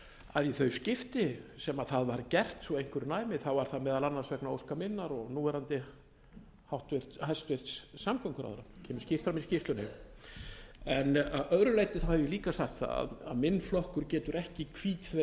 að í þau skipti sem það var gert svo að einhverju næmi var það meðal annars vegna óska minna og núverandi hæstvirtum samgönguráðherra það kemur skýrt fram í skýrslunni að öðru leyti hef ég líka sagt það að minn flokkur ekki hvítþvegið sig af þessari